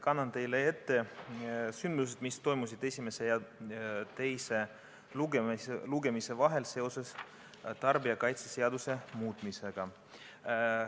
Kannan teile ette sündmused, mis toimusid esimese ja teise lugemise vahel seoses tarbijakaitseseaduse muutmisega.